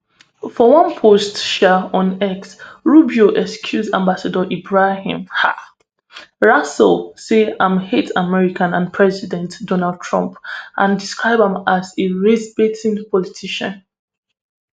for one post um on x rubio accuse ambassador ebrahim um rasool say im hate america and president donald trump and describe am as a racebaiting politician